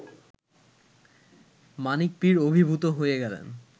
মানিক পীর অভিভূত হয়ে গেলেন